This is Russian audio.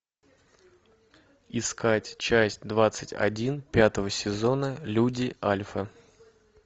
искать часть двадцать один пятого сезона люди альфа